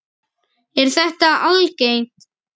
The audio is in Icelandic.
Sindri: Er þetta algengt?